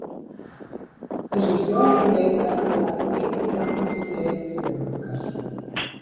Þessir fjórir leikmenn hafa lagt mikið fram fyrir leiktíðina okkar.